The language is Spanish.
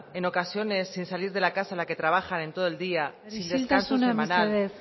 en ocasiones sin salir de la casa en la que trabajan en todo el día isiltasuna mesedez